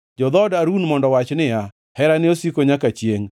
Jo-dhood Harun mondo owach niya, “Herane osiko nyaka chiengʼ.”